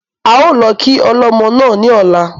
A ó lọ kí ọlọ́mọ náà ní ọ̀la